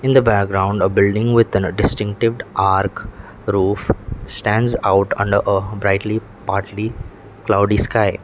in the background a building with an distinctive arch roof stands out under a brightly partly cloudy sky.